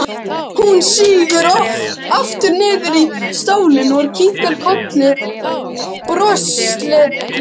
Hún sígur aftur niður í stólinn og kinkar kolli brosleit.